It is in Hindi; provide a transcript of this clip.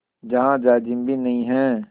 जहाँ जाजिम भी नहीं है